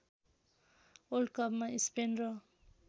वल्डकपमा Spain र